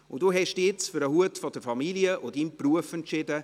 Sie haben sich nun für den Hut der Familie und Ihrem Beruf entschieden.